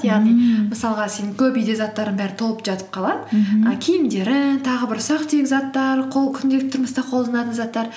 мысалға сен көп үйде заттарың бәрі толып жатып қалады і киімдерің тағы бір ұсақ түйек заттар күнделікті тұрмыста қолданатын заттар